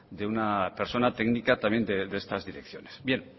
de una persona técnica también de estas direcciones bien